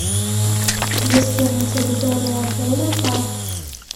есть ли на территории отеля парк